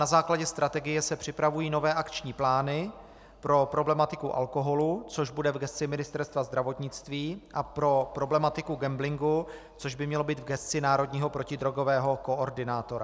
Na základě strategie se připravují nové akční plány pro problematiku alkoholu, což bude v gesci Ministerstva zdravotnictví, a pro problematiku gamblingu, což by mělo být v gesci národního protidrogového koordinátora.